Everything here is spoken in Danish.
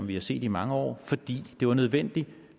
vi har set i mange år fordi det var nødvendigt